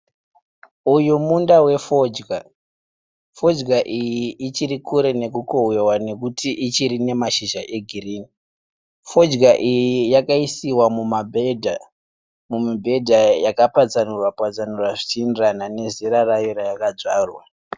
Uyu munda wefodya. Fodya iyi ichiri kure nekukohwewa nekuti ichiri nemashizha egirini. Fodya iyi yakaisiwa mumibhedha yaka patsanurwa patsanurwa zvichienderana nezera rayo rayakadzvarwa.